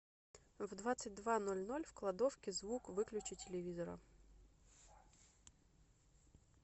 в двадцать два ноль ноль в кладовке звук выключи телевизора